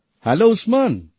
hello Usman